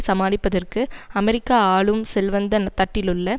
சமாளிப்பதற்கு அமெரிக்க ஆளும் செல்வந்த தட்டிலுள்ள